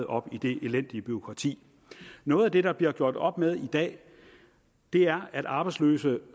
op i det elendige bureaukrati noget af det der bliver gjort op med i dag er at arbejdsløse